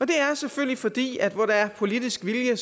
det er selvfølgelig fordi at der hvor der er politisk vilje